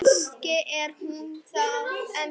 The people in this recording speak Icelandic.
Kannski er hún það ennþá.